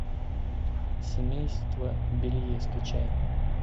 семейство белье скачай